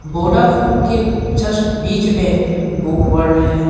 Vodafone के just बीच में बुक वर्ल्ड है।